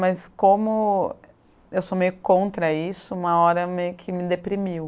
Mas como eu sou meio contra isso, uma hora meio que me deprimiu.